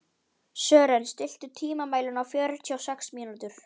Sören, stilltu tímamælinn á fjörutíu og sex mínútur.